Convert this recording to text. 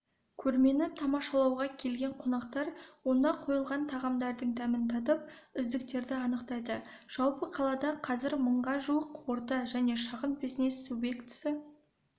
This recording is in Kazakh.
көрмені тамашалауға келген қонақтар онда қойылған тағамдардың дәмін татып үздіктерді анықтады жалпы қалада қазір мыңға жуық орта және шағын бизнес субъектісі